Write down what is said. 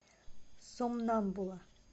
сомнамбула